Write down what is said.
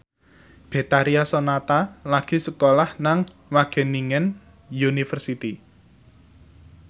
Betharia Sonata lagi sekolah nang Wageningen University